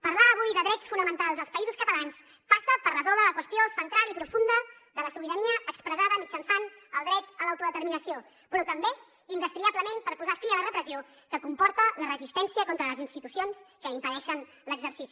parlar avui de drets fonamentals als països catalans passa per resoldre la qüestió central i profunda de la sobirania expressada mitjançant el dret a l’autodeterminació però també indestriablement per posar fi a la repressió que comporta la resistència contra les institucions que n’impedeixen l’exercici